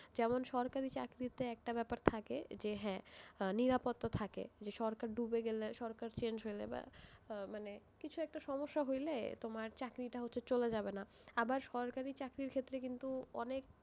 যেমন সরকারি চাকরিতে একটা ব্যাপার থাকে যে হ্যাঁ, নিরাপত্তা থাকে, যে সরকার ডুবে গেলে, সরকার change হলে, বা আহ মানে, কিছু একটা সমস্যা হলে তোমার চাকরিটা হয়তো চলে যাবে না, আবার সরকারি চাকরির ক্ষেত্রে কিন্তু অনেক,